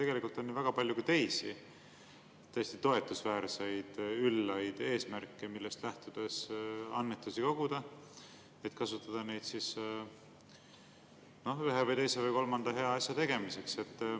Tegelikult on väga palju ka teisi tõesti toetusväärseid, üllaid eesmärke, millest lähtudes annetusi koguda, et kasutada neid ühe või teise või kolmanda hea asja tegemiseks.